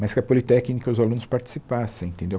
Mas que a Politécnica e os alunos participassem, entendeu?